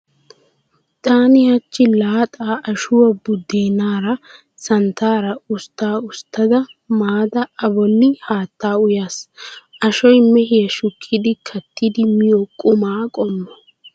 Taani hachchi laaxaa ashuwaa buddeenaara santtaara ustta usttada maada A bolli haattaa uyaas. Ashoy mehiyaa shukkidi kattidi miyo quma qommo.